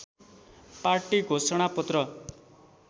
party घोषणा पत्र